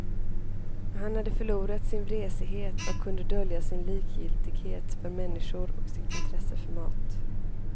Han hade förlorat sin vresighet och kunde dölja sin likgiltighet för människor och sitt intresse för mat.